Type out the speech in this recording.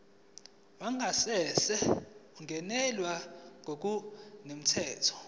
wangasese ungenelwe ngokungemthetho